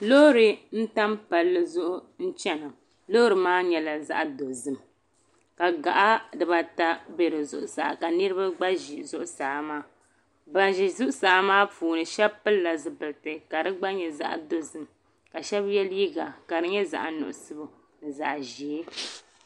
Loori n tam Palli zuɣu n chena loori maa nyɛla zaɣa dozim ka gaɣa dibaa ata be di zuɣusaa ka niriba gba ʒi zuɣusaa maa ban ʒi zuɣusaa maa puuni sheba pilila zipilti ka di gba nyɛ zaɣa dozim ka sheba ye liiga ka di nyɛ zaɣa nuɣuso ni zaɣa ʒee.